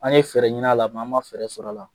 An ye fɛɛrɛ ɲini a la an ma fɛɛrɛ sɔrɔ a la.